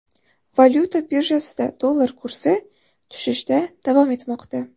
Valyuta birjasida dollar kursi tushishda davom etmoqda .